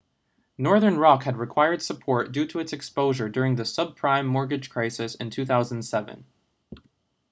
northern rock had required support due to its exposure during the subprime mortgage crisis in 2007